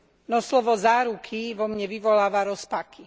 No slovo záruky vo mne vyvoláva rozpaky.